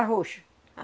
Arroz.